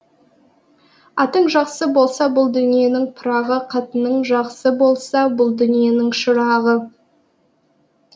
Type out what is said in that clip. атың жақсы болса бұл дүниенің пырағы қатының жақсы болса бұл дүниенің шырағы